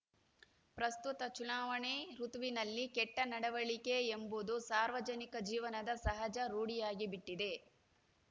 ಪ್ರಸ್ತುತ ಚುನಾವಣೆ ಋುತುವಿನಲ್ಲಿ ಕೆಟ್ಟನಡವಳಿಕೆ ಎಂಬುದು ಸಾರ್ವಜನಿಕ ಜೀವನದ ಸಹಜ ರೂಢಿಯಾಗಿಬಿಟ್ಟಿದೆ